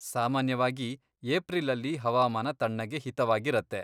ಸಾಮಾನ್ಯವಾಗಿ, ಏಪ್ರಿಲಲ್ಲಿ ಹವಾಮಾನ ತಣ್ಣಗೆ ಹಿತವಾಗಿರತ್ತೆ.